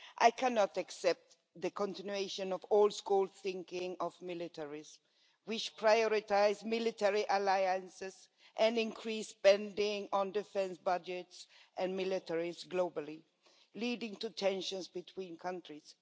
I cannot accept the continuation of old school militaristic thinking, with priority afforded to military alliances and increased spending on defence budgets and militaries globally, leading to tensions between countries.